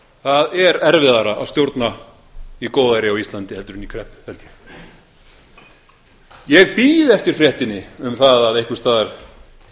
það er erfiðara að stjórna í góðæri á íslandi heldur en í kreppu held ég ég bíð eftir fréttinni um það að einhvers staðar